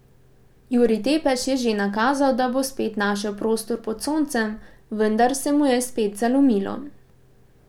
Jurij Tepeš je že nakazal, da bo spet našel prostor pod soncem, vendar se mu je spet zalomilo.